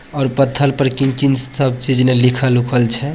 और पत्थर पर किन-किन सब छै जना लिखल उखल छै।